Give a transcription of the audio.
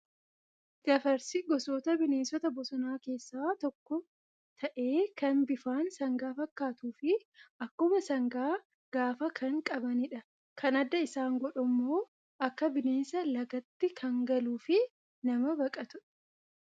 Gafarsi gosoota bineensota bosonaa keessaa tokko ta'ee kan bifaan sangaan fakkaatuu fi akkuma sangaa gaafa kan qabanidha. Kan adda isaan godhu immoo akka bineensaa lagatti kan galuu fi nama baqatudha.